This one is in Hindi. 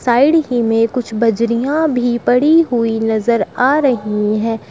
साइड ही में कुछ बजरियाँ भी पड़ी हुई नजर आ रही है।